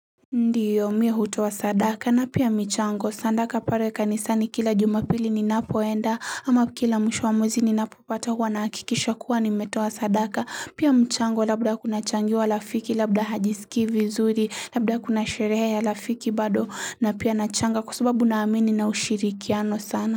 Ndiyo mi hutoa sadaka na pia michango sadaka pale kanisani kila jumapili ninapoenda ama kila mwisho mwa ninapopata huwa na hakikisha kuwa nimetowa sadaka pia mchango labda kuna lchangiwa rafiki labda hajisikii vizuri labda kuna sherehe ya lafiki bado na pia nachanga kwa sababu naamini nina ushirikiano sana.